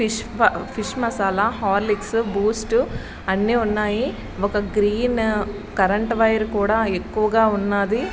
Fish fish masala Horlicks Boost అన్ని ఉన్నాయి ఒక గ్రీన్ కరెంట్ వైర్ కూడా ఎక్కువగా ఉన్నవి.